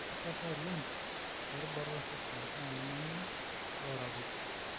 inetipata oleng too rubat osesen anaa emonyua ,olairakuj.